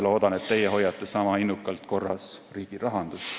Loodan, et teie hoiate sama innukalt korras riigi rahandust.